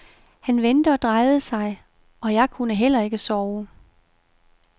Han vendte og drejede sig, og jeg kunne heller ikke sove.